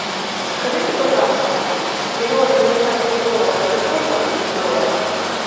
скажите пожалуйста миллион американских долларов это сколько будет в долларах